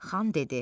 Xan dedi: